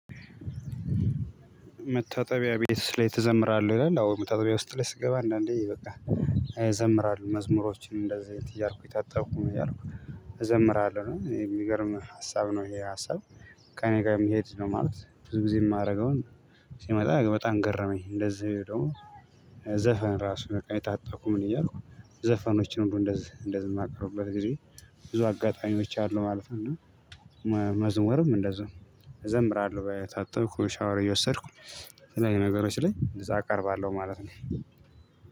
መታጠቢያ ቤት ላይ ትዘምራለህ ይላል አዎ መታጠቢያ ውስጥ ላይ ስትገባ አንዳንዴ በቃ። እዘምራለሁ መዝሙሮችን እንደዚህ እያልኩኝ ታጣብኩኝ ምን እያልኩኝ እዘምራለሁ የሚገርም ሀሳብ ነው ይሄ ሀሳብ። ከእኔ ጋር የምሄድ ነው ማለት ብዙ ጊዜ የማደርገውን ሲመጣ በጣም ገረመኝ እንደዚህ ደግሞ። ዘፈን ራሱ በቃ እየታጠብኩ ምን እያልኩ ዘፈኖች ነው እንደዚህ እንደዚህ የማቀርበት ጊዜ ብዙ አጋጣሚዎች አሉ ማለት ነው። መዝሙርም እንደዛው እዘምራለሁ በየታጠብኩ ሻወር እየወሰድኩ። የተለያዩ ነገሮች ላይ እዛ አቀርባለሁ ማለት ነው።